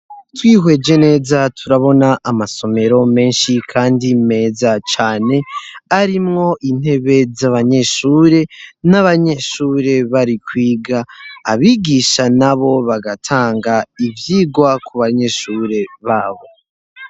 Twihweje neza turabona amasomero menshi kandi meza cane arimwo intebe z'abanyeshuri, n'abanyeshuri bari kwiga abigisha nabo bagatanga ivyigwa ku banyeshure babo.